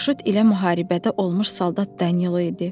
Qoşut ilə müharibədə olmuş soldat Danil idi.